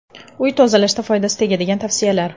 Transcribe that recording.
Uy tozalashda foydasi tegadigan tavsiyalar.